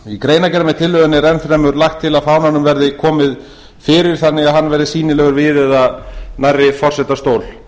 í greinargerð með tillögunni er enn fremur lagt til að fánanum verði komið fyrir þannig að hann verði sýnilegur við eða nærri forsetastól